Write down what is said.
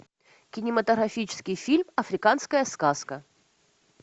кинематографический фильм африканская сказка